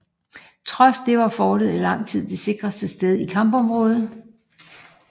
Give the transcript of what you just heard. Trods det var fortet i lang tid det sikreste sted i kampområdet